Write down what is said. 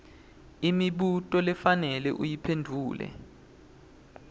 imibuto lofanele uyiphendvule